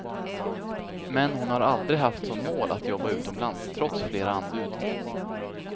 Men hon har aldrig haft som mål att jobba utomlands trots flera anbud.